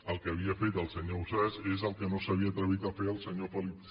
el que havia fet el senyor ausàs és el que no s’havia atrevit a fer el senyor felip